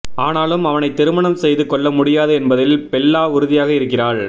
ஆனாலும் அவனைத் திருமணம் செய்து கொள்ள முடியாது என்பதில் பெல்லா உறுதியாக இருக்கிறாள்